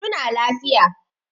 Su na lafiya.